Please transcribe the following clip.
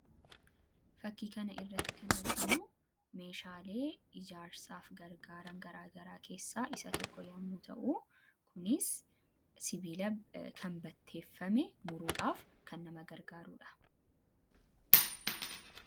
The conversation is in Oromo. Fakkii kana irratti kan arginu meeshaalee ijaarsaaf gargaaran garaa garaa keessaa isa tokko yommuu ta'u, kunis sibiila kan batteeffame muruudhaaf kan nama gargaarudha.